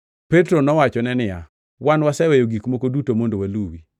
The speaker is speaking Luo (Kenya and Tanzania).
Petro nowachone niya, “Wan waseweyo gik moko duto mondo waluwi.”